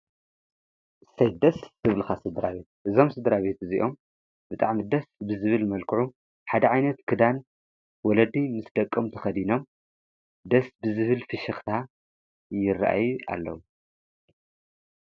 ሠደስ ትብልኻ ስደራ ቤት እዞም ስድራቤት እዚኦም ብጣዕሚ ደስ ብዝብል መልክዑ ሓደ ዓይነት ክዳን ወለድይ ምስ ደቆም ተኸዲኖም ደስ ብዝብል ፍሽኽታ ይረአየ ኣለዉ።